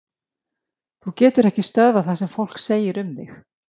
Þú getur ekki stöðvað það sem fólk segir um þig.